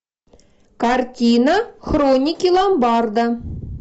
картина хроники ломбарда